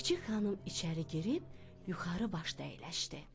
Çik-çik xanım içəri girib yuxarı başda əyləşdi.